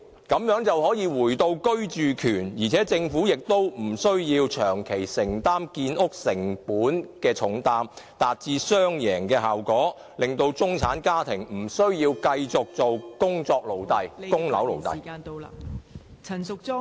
這樣便可回到居住權，而且政府亦無需長期承擔建屋成本的重擔，達致雙贏效果，令中產家庭無需繼續當工作奴隸及供樓奴隸。